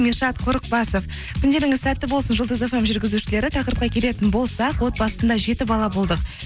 меншат қорықбасов күндеріңіз сәтті болсын жұлдыз эф эм жүргізушілері тақырыпқа келетін болсақ отбасында жеті бала болдық